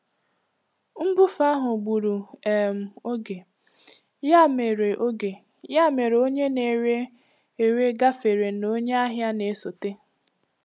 Nbufe ahụ gburu um oge, ya mere oge, ya mere onye na-ere ere gafere na onye ahịa na-esote.